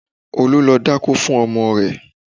Olu lọ dákó fun ọmọ rẹ̀